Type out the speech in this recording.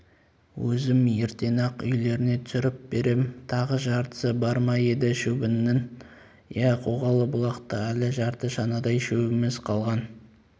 өзім ертең-ақ үйлеріңе түсіріп берем тағы жартысы бар ма еді шөбіңнің иә қоғалы бұлақта әлі жарты шанадай шөбіміз қалған